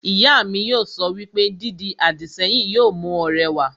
Ìyá mi yóò sọ wípé, 'Dídi àdìsẹ́yìn yóò mú ọ rẹwà'